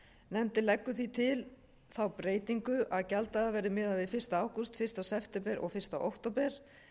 nefndin leggur því til þá breytingu að gjalddagar verði miðaðir við fyrsta ágúst fyrsta september og fyrsta október